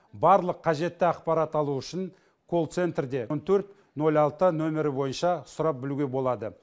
барлық қажетті ақпарат алу үшін колл центрде он төрт нөл алты нөмірі бойынша сұрап білуге болады